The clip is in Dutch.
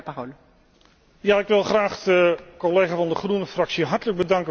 Ja, ik wil graag de collega van de Groene Fractie hartelijk bedanken voor zijn vraag.